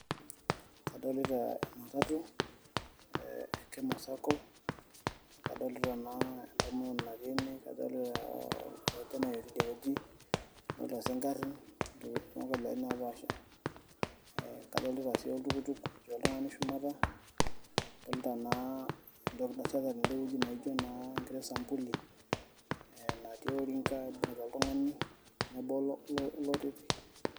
Kadolita ematatu, eh Kemo Sacco, adolita naa entomononi natii ene, kadolita orkijanai otii idie wueji, kadolita si garrin onkabilaritin napaasha, kadolita si oltukutuk otii oltung'ani shumata, adolta naa entoki nasheta tedeweji naijo naa enkiti sampuli, natii orinka ibung'ita oltung'ani lobo loteti.